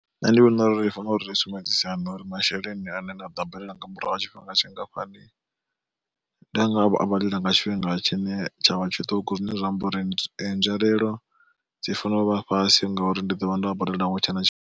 Nṋe ndi vhona uri ri fanela uri ri sumbedzisane uri masheleni ane nda ḓo a badela nga murahu ha tshifhinga tshingafhani, ndanga a badela nga tshifhinga tshine tshavha tshiṱuku zwine zwa amba uri nzwalelo dzi fanela u vha fhasi ngauri ndi ḓovha ndo a badela hu tshena tshifhi.